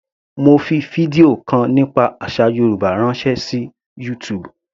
Mo fi fídíò kan nípa àsà Yorùbá ránṣẹ́ sí YouTube.